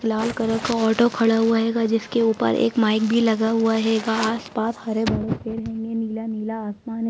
लाल colour का auto खड़ा हुआ हेगा जिसके ऊपर एक माइक भी लगा हुआ हेगा। आसपास हरे-भरे पे पेड़ होंगे नीला-नीला आसमान--